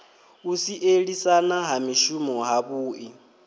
u sielisana ha mishumo havhui